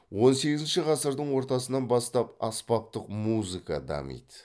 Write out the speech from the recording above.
он сегізінші ғасырдың ортасынан бастап аспаптық музыка дамыды